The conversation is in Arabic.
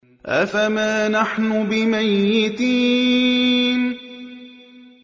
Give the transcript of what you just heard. أَفَمَا نَحْنُ بِمَيِّتِينَ